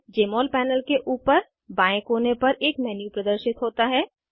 जमोल panel के ऊपर बाएं कोने पर एक मेन्यू प्रदर्शित होता है